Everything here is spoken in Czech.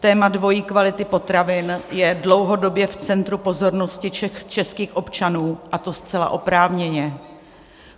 Téma dvojí kvality potravin je dlouhodobě v centru pozornosti českých občanů, a to zcela oprávněně.